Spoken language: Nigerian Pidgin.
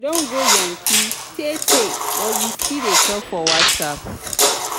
she don go yankee tee tee but we still dey talk for whatsapp.